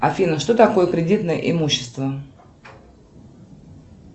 афина что такое кредитное имущество